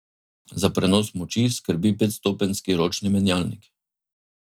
Za prenos moči skrbi petstopenjski ročni menjalnik.